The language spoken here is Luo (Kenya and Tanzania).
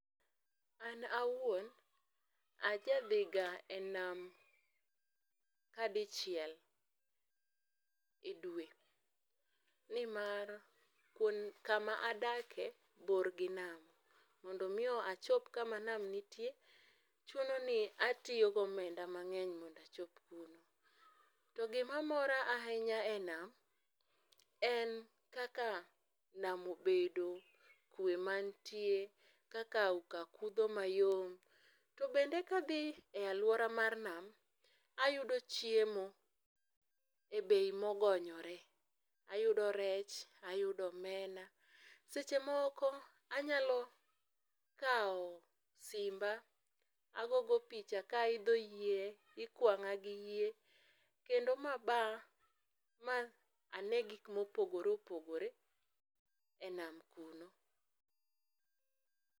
An awuon, ajadhiga e nam kadichiel e dwe. Nimar kama adake bor gi nam. Mondo omi achop kama nam nitie, chuno ni atiyo gi omenda mang'eny mondo achop kuno. To gima mora ahinya e nam, en kaka nam obedo, kwe mantie, kaka auka kudho mayom. To bende ka adhi e alwora mar nam, ayudo chiemo e bei mogonyore. Ayudo rech, ayudo omena. Seche moko anyalo kawo simba agogo picha ka aidho yie, ikwang'a gi yie kendo ma aba ma ane gik mopogore opogore e nam kuno.